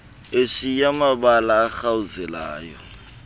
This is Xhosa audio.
eshiya mabala arhawuzelayo